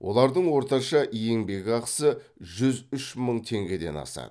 олардың орташа еңбекақысы жүз үш мың теңгеден асады